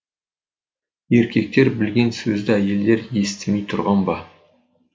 еркектер білген сөзді әйелдер естімей түрған ба